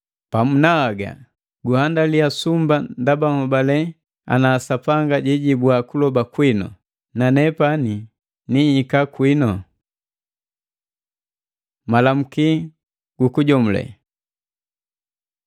Pamu na haga gunhandaliya sumba ndaba nhobale ana Sapanga jijibua kuloba kwinu na nepani nihika kwinu. Malamuki gu kujomule